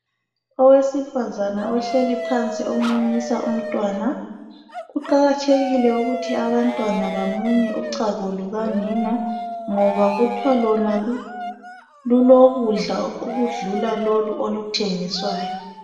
Owesifazana ohlezi phansi umunyisa umntwana. Kuqakathekile ukuthi abantwana bamunye uchago lukanina ngoba kuthwa lona lulokudla okudlula lolu oluthengiswayo.